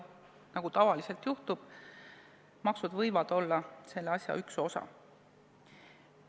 Tavaliselt nii ongi, et maksud on üks osa meetmetest.